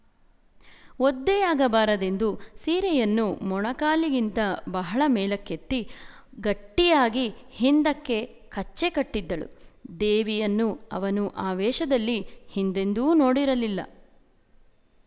ಒದ್ದೆಯಾಗಬಾರದೆಂದು ಸೀರೆಯನ್ನು ಮೊಣಕಾಲುಗಳಿಗಿಂತ ಬಹಳ ಮೇಲಕ್ಕೆತ್ತಿ ಗಟ್ಟಿಯಾಗಿ ಹಿಂದಕ್ಕೆ ಕಚ್ಚೆ ಕಟ್ಟಿದ್ದಳು ದೇವಿಯನ್ನು ಅವನು ಆ ವೇಷದಲ್ಲಿ ಹಿಂದೆಂದೂ ನೋಡಿರಲಿಲ್ಲ